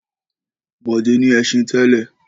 Bọ̀dé ní ẹṣin tẹ́lẹ̀.